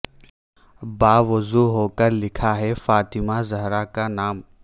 با وضو ہو کر لکھا ہے فاطمہ زہرا کا نام